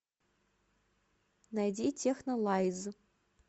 найди технолайз